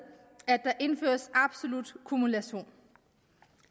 at der indføres absolut kumulation